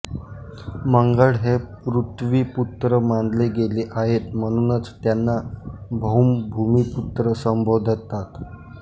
मंगळ हे पृथ्वीपुत्र मानले गेले आहे म्हणूनच त्यांना भौम भूमिपुत्र संबोधतात